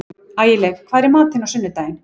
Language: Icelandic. Ægileif, hvað er í matinn á sunnudaginn?